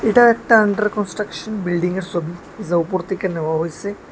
এটা একটা under construction বিল্ডিংয়ের সবি যা উপর থেকে নেওয়া হইসে।